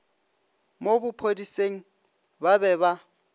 mo bophodiseng ba be ba